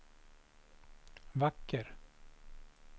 vacker